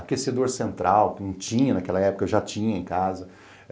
Aquecedor central, que não tinha naquela época, eu já tinha em casa.